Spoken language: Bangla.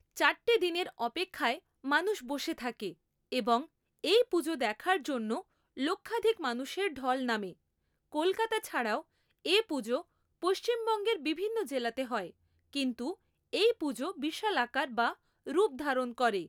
চারটে দিনের অপেক্ষায় মানুষ বসে থাকে এবং এই পুজো দেখার জন্য লক্ষাধিক মানুষের ঢল নামে। কলকাতা ছাড়াও এ পুজো পশ্চিমবঙ্গের বিভিন্ন জেলাতে হয় কিন্তু এই পুজো বিশাল আকার বা রূপ ধারণ করে